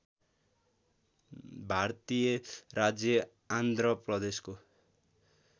भारतीय राज्य आन्ध्र प्रदेशको